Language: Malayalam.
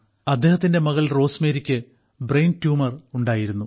അദ്ദേഹത്തിന്റെ മകൾ റോസ്മേരിക്ക് ബ്രെയിൻ ട്യൂമർ ഉണ്ടായിരുന്നു